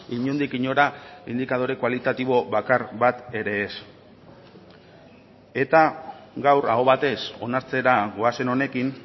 inondik inora indikadore kualitatibo bakar bat ere ez eta gaur aho batez onartzera goazen honekin